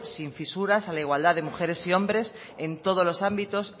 sin fisuras a la igualdad de mujeres y hombres en todos los ámbitos